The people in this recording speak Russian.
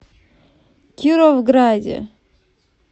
кировграде